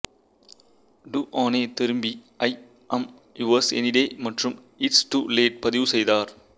டூஅனெ திரும்பி I am yours any day மற்றும் it's too late பதிவு செய்தார்